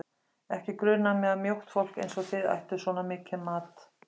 Ekki grunaði mig að mjótt fólk eins og þið ættuð svona mikinn mat